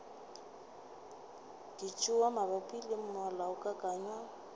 ka tšewa mabapi le molaokakanywa